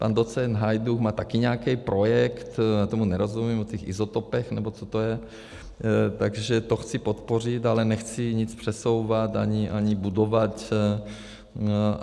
Pan docent Hajdúch má také nějaký projekt, já tomu nerozumím, o těch izotopech, nebo co to je, takže to chci podpořit, ale nechci nic přesouvat ani budovat.